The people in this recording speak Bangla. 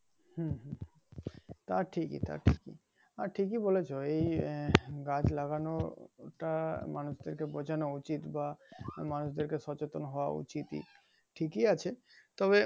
হুম হুম তা ঠিকিই তা ঠিকিই আর ঠিকিই বলেছো এই গাছ লাগানোটা মানুষদেরকে বুঝানো উচিত বা মানুষদেরকে সচেতন হওয়া উচিতই ঠিকিই আছে তবে